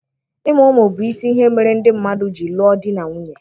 Ịmụ ụmụ bụ isi ihe mere ndị mmadụ ji lụọ di na nwunye